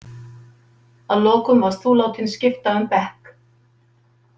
Að lokum varst þú látinn skipta um bekk.